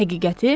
Həqiqəti?